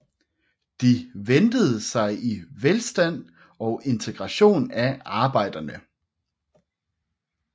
De ventede sig velstand og integration af arbejderne